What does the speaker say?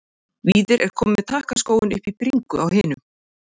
Víðir er kominn með takkaskóinn upp í bringu á hinum.